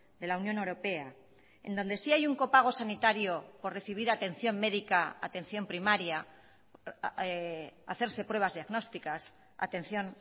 de la unión europea en donde sí hay un copago sanitario por recibir atención médica atención primaria hacerse pruebas diagnósticas atención